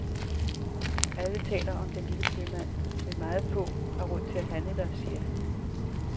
Alle taler om den lille købmand, men meget få har råd til at handle der, siger han.